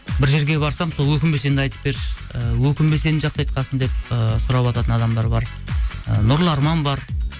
бір жерге барсам сол өкінбе сенді айтып берші і өкінбе сенді жақсы айтқансың деп ыыы сұравататын адамдар бар ы нұрлы арман бар